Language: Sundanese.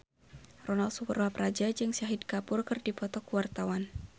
Ronal Surapradja jeung Shahid Kapoor keur dipoto ku wartawan